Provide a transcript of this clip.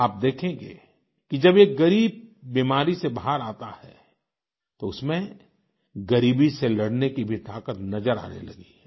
आप देखेंगे कि जब एक गरीब बीमारी से बाहर आता है तो उसमें गरीबी से लड़ने की भी ताकत नजर आने लगती है